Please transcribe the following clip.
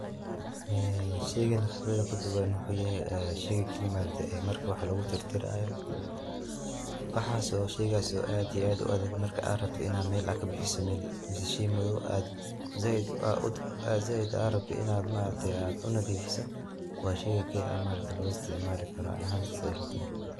Ee sheygan qibrada kuduugan wuxu yahy shey wax lagutirtioraayo sheygaas oo aad iyo aad uadhag ama shey madoob aa zaid urabtid in aad unadhiifso waa sheyga aad usiticmali karto, ani ahaan saas ayeey ilatahy.